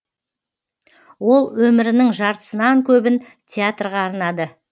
ол өмірінің жартысынан көбін театрға арнады